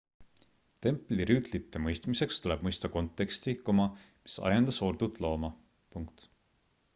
templirüütlite mõistmiseks tuleb mõista konteksti mis ajendas ordut looma